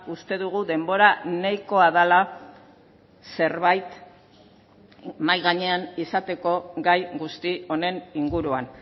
uste dugu denbora nahikoa dela zerbait mahai gainean izateko gai guzti honen inguruan